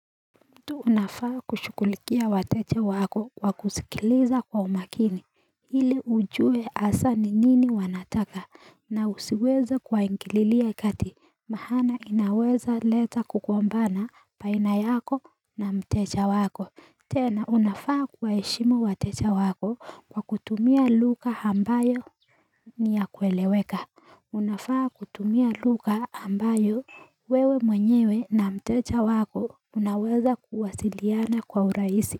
Mtu unafaa kushugulikia wateja wako kwa kusikiliza kwa umakini. Ili ujue hasaa ni nini wanataka na usiweza kuwaingililia kati. Maana inaweza leta kugombana baina yako na mteja wako. Tena unafaa kuwaheshimu wateja wako kwa kutumia lugha ambayo ni ya kueleweka. Unafaa kutumia lugha ambayo wewe mwenyewe na mteja wako unaweza kuwasiliana kwa urahisi.